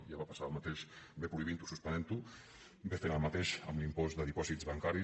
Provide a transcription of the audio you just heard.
ja va passar el mateix bé prohibint ho o suspenent ho bé fent el mateix amb l’impost de dipòsits bancaris